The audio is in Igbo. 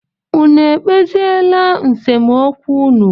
Unu ekpeziela nsemokwu unu?